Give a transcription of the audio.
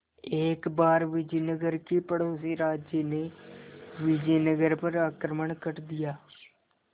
एक बार विजयनगर के पड़ोसी राज्य ने विजयनगर पर आक्रमण कर दिया